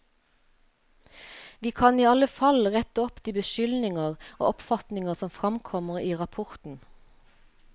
Vi kan i alle fall rette opp de beskyldninger og oppfatninger som fremkommer i rapporten.